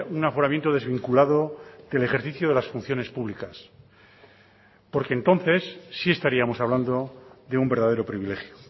un aforamiento desvinculado del ejercicio de las funciones públicas porque entonces sí estaríamos hablando de un verdadero privilegio